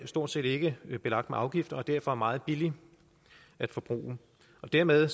stort set ikke er belagt med afgifter og derfor er meget billig at forbruge dermed